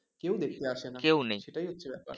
কেউ দেখতে আসেনা সেটাই হচ্ছে ব্যাপার